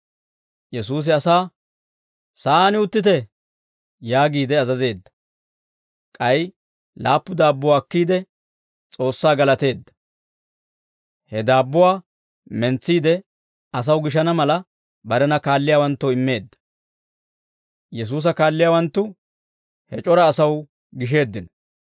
Yesuusi asaa, «Sa'aan uttite» yaagiide azazeedda; k'ay laappu daabbuwaa akkiide, S'oossaa galateedda; he daabbuwaa mentsiide, asaw gishana mala, barena kaalliyaawanttoo immeedda. Yesuusa kaalliyaawanttu he c'ora asaw gisheeddino.